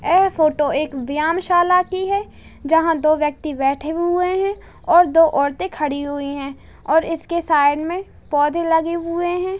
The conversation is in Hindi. आए फोटो एक व्यायामशाला की है जहां दो व्यक्ति बैठे हुए हैं और दो औरते खड़ी हुई हैं और इसके साइड में पौधे लगे हुए हैं।